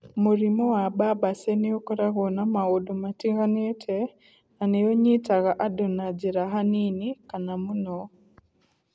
Mũrimũ wa Barber Say nĩ ũkoragwo na maũndũ matiganĩte, na nĩ ũnyitaga andũ na njĩra hanini kana mũno.